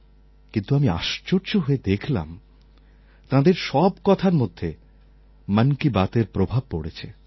কিন্তু আমি আশ্চর্য হয়ে দেখলাম তাঁদের সব কথার মধ্যে মন কি বাতএর প্রভাব পড়েছে